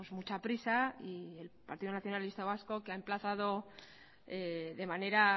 mucha prisa y el partido nacionalista vasco que ha emplazado de manera